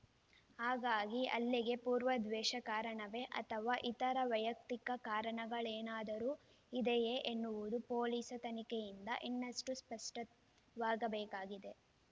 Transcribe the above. ಹಾಗಾಗಿ ಹಲ್ಲೆಗೆ ಪೂರ್ವ ದ್ವೇಷ ಕಾರಣವೇ ಅಥವಾ ಇತರೆ ವೈಯಕ್ತಿಕ ಕಾರಣಗಳೇನಾದರೂ ಇದೆಯೇ ಎನ್ನುವುದು ಪೊಲೀಸ್‌ ತನಿಖೆಯಿಂದ ಇನ್ನಷ್ಟೇ ಸ್ಪಷ್ಟವಾಗಬೇಕಾಗಿದೆ